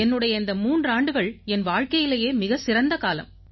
என்னுடைய இந்த மூன்றாண்டுகள் என் வாழ்க்கையிலேயே மிகச் சிறந்த காலம்